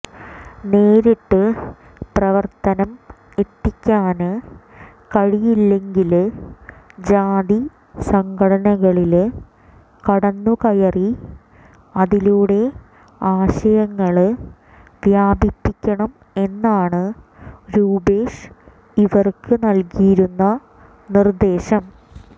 നേരിട്ട് പ്രവര്ത്തനം എത്തിക്കാന് കഴിയില്ലങ്കില് ജാതി സംഘടനകളില് കടന്നുകയറി അതിലൂടെ ആശയങ്ങള് വ്യാപിപ്പിക്കണം എന്നാണ് രൂപേഷ് ഇവര്ക്ക് നല്കിയിരുന്ന നിര്ദ്ദേശം